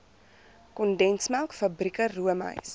kondensmelk fabrieke roomys